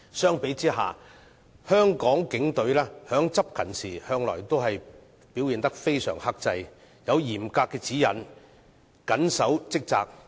相比之下，香港警隊在執勤時向來表現得相當克制，有嚴格指引，緊守職責。